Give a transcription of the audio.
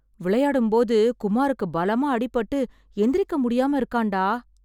விளையாடும்போது குமாருக்கு பலமா அடிபட்டு எந்திரிக்க முடியாம இருக்கான்டா.